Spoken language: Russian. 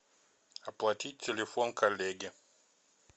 оплатить телефон коллеги